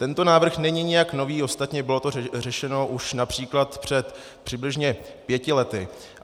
Tento návrh není nijak nový, ostatně bylo to řešeno už například před přibližně pěti lety.